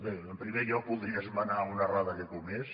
bé en primer lloc voldria esmenar una errada que he comès